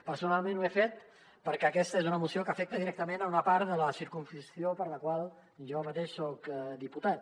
personalment ho he fet perquè aques·ta és una moció que afecta directament una part de la circumscripció per la qual jo mateix soc diputat